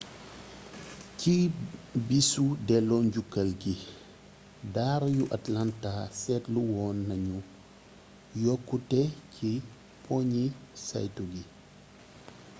ci bisu delloo njukkal gi daara yu atlanta seetlu woon nañu yokkute ci poñi saytu gi